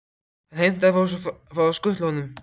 Hann heimtar að fá að skutla honum.